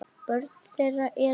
Börn þeirra eru.